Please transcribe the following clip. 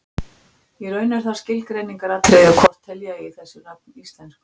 Í raun er það skilgreiningaratriði hvort telja eigi þessi nöfn íslensk nöfn.